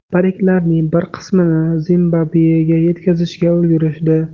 Pariklarning bir qismini Zimbabvega yetkazishga ulgurishdi.